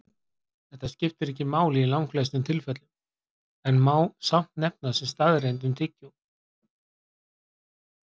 Þetta skiptir ekki máli í langflestum tilfellum en má samt nefna sem staðreynd um tyggjó.